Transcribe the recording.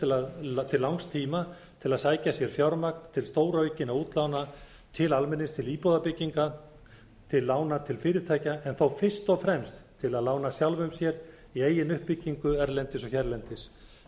til langs tíma til að sækja sér fjármagn til stóraukinna útlána til almennings til íbúðafyrirtækja til lána til fyrirtækja en þó fyrst og fremst til að lána sjálfum sér í eigin uppbyggingu erlendis og hérlendis